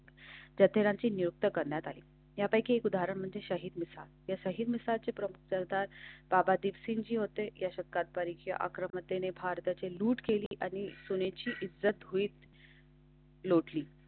जत्रांची नियुक्त करण्यात आहे. त्यापैकी एक उदाहरण म्हणजे शाहिदच्या साहित्याची प्रमुख सरदार बाबा दिवशी जी होते. या शतकात परीक्षा अकरा मते भारताची लूट केली आणि सुनेची इज्जत होईल.